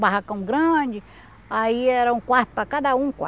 Barracão grande, aí era um quarto para cada um